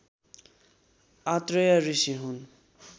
आत्रेय ऋषि हुन्।